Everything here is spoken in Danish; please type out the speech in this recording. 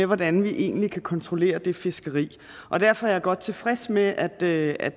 hvordan man egentlig kan kontrollere det fiskeri derfor er vi godt tilfreds med at med at